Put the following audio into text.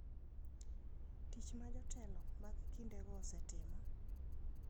'Tich ma jotelo mag kindego osetimo mar kelo kuwe ok en gima konyo e kelo kuwe e piny Sudan.